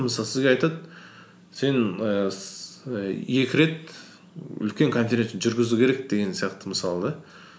мысалы сізге айтады сен ііі і екі рет үлкен конференция жүргізу керек деген сияқты мысалы да